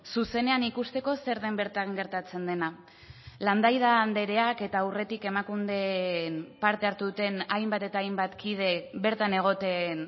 zuzenean ikusteko zer den bertan gertatzen dena landaida andreak eta aurretik emakunden parte hartu duten hainbat eta hainbat kide bertan egoten